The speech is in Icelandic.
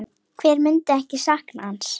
Hver myndi ekki sakna hans?